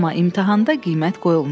Amma imtahanda qiymət qoyulmayacaq.